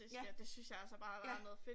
Ja ja